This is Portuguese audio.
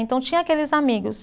Então, tinha aqueles amigos.